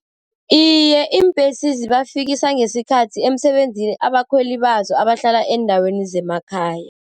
Iye, iimbhesi zibafikisa ngesikhathi emsebenzini abakhweli bazo abahlala eendaweni zemakhaya.